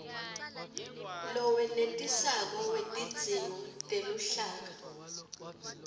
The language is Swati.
lowenetisako wetidzingo teluhlaka